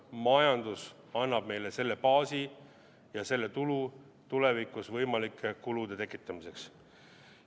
Majandus annab meile selle baasi ja selle tulu tulevikus võimalike kulude tekitamiseks.